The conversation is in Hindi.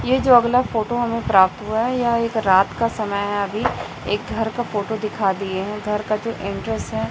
ये जो अगला फोटो हमें प्राप्त हुआ है यह एक रात का समय है अभी एक घर का फोटो दिखा दिए हैं घर का जो एंट्रेंस है।